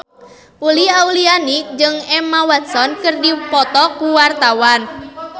Uli Auliani jeung Emma Watson keur dipoto ku wartawan